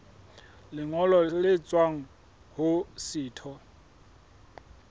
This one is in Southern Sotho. lengolo le tswang ho setho